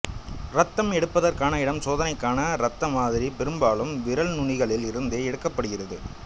இரத்தம் எடுப்பதற்கான இடம் சோதனைக்கான இரத்த மாதிரி பெரும்பாலும் விரல் நுனிகளில் இருந்தே எடுக்கப்படுகிறது